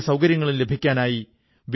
ഞാൻ മഹർഷി വാല്മീകിയെ നമിക്കുന്നു